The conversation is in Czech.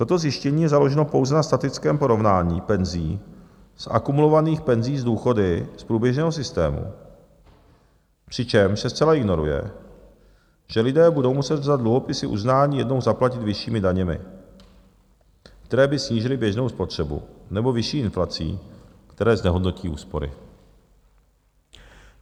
Toto zjištění je založeno pouze na statickém porovnání penzí, z akumulovaných penzí s důchody z průběžného systému, přičemž se zcela ignoruje, že lidé budou muset za dluhopisy uznání jednou zaplatit vyššími daněmi, které by snížily běžnou spotřebu, nebo vyšší inflací, které znehodnotí úspory.